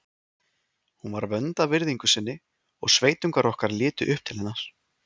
Hún var vönd að virðingu sinni og sveitungar okkar litu upp til hennar.